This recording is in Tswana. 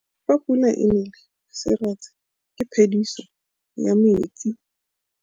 Fa pula e nelê serêtsê ke phêdisô ya metsi.